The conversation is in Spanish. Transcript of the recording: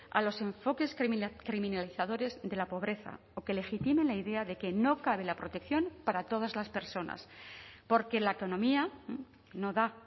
a los enfoques criminalizadores de la pobreza o que legitime la idea de que no cabe la protección para todas las personas porque la economía no da